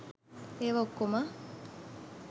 ඒවා ඔක්කොම